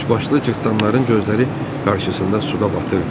Üçbaşlı cırtdanların gözləri qarşısında suda batırdı.